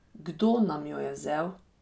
Kdo nam jo je vzel?